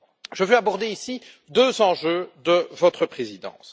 Je veux aborder ici deux enjeux de votre présidence.